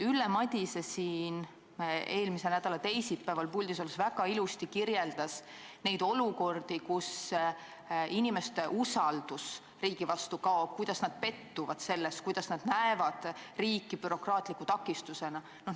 Ülle Madise kirjeldas siin eelmise nädala teisipäeval puldis olles väga ilusti neid olukordi, kus inimeste usaldus riigi vastu on kadunud, kus nad on riigis pettunud, sest näevad riiki bürokraatliku takistusena.